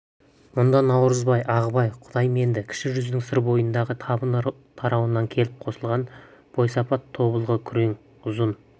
мұнда наурызбай ағыбай құдайменді кіші жүздің сыр бойындағы табын тарауынан келіп қосылған бойсапат тобылғы күрең ұзын